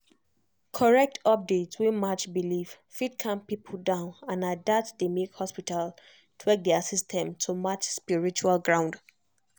correct update wey match belief fit calm people down and na that dey make hospital tweak their system to match spiritual ground.